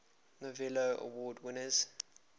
novello award winners